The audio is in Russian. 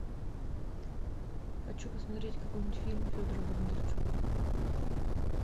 хочу посмотреть какой нибудь фильм федора бондарчука